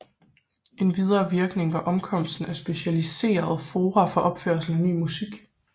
En videre virkning var opkomsten af specialiserede fora for opførelse af ny musik